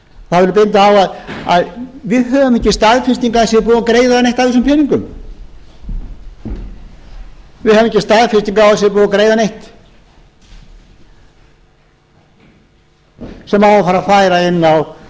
það verður að benda á að við höfum ekki staðfestingu á að það sé búið að greiða neitt af þessum peningum við höfum ekki staðfestingu á að það sé búið